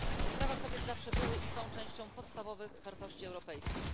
Prawa kobiet zawsze były i są częścią podstawowych wartości europejskich.